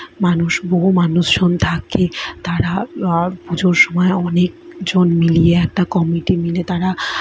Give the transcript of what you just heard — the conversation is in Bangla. মানুষ বহু মানুষ জন থাকে তারা আ পুজোর সময় অনেক জন মিলিয়ে একটি কমিটি মিলে তারা ।